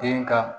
Den ka